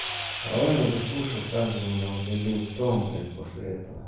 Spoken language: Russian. а он не дослушал сразу меня удалил кто он блять после этого